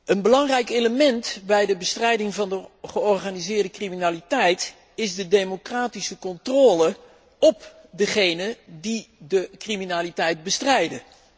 Een belangrijk element bij de bestrijding van de georganiseerde criminaliteit is de democratische controle op degenen die de criminaliteit bestrijden.